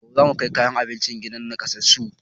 Gobe zamu kai kayan abinci gidan nakasassun